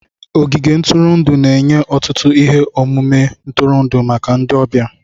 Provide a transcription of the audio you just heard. Ogige ntụrụndụ na-enye ọtụtụ ihe omume ntụrụndụ maka ndị ọbịa.